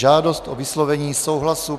Žádost o vyslovení souhlasu